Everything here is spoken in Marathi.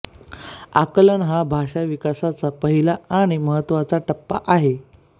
आकलन हा भाषा विकासाचा पहिला आणि महत्त्वाचा टप्पा आहे